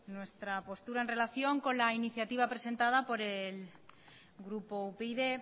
nuestra postura en relación con la iniciativa presentada por el grupo upyd